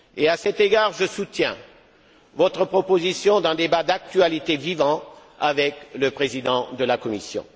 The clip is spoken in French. À cet égard, je soutiens votre proposition d'un débat d'actualité vivant avec le président de la Commission.